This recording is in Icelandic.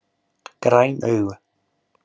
Græn augu